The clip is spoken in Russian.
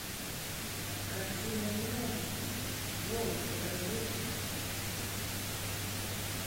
картина не может быть джоуз покажи